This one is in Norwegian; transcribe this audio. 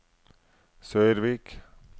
Sørvik